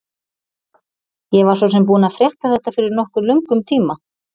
Ég var svo sem búinn að frétta þetta fyrir nokkuð löngum tíma.